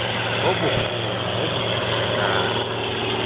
bo bogolo bo bo tshegetsang